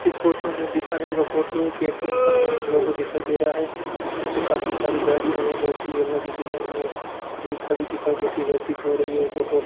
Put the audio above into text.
इस फोटो में बीकानेर का फोटो है एक ए_टी_एम का नाम लोगों को दिखाई दे रहा है नीचे काफी सारी गाड़ियां हैं जोकि अलग डिजाइन में गाड़ी खड़ी दिखाई देती व्यतीत हो रही है ये फोटो --